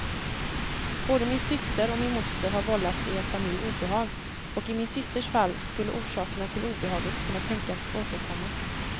Både min syster och min moster har vållat er familj obehag, och i min systers fall skulle orsakerna till obehaget kunna tänkas återkomma.